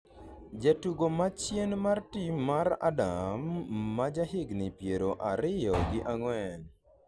jatugo ma chien mar tim mar Adam, ma jahigni piero ariyo gi ang'wen